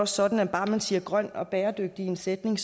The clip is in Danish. sådan at bare man siger grøn og bæredygtig i en sætning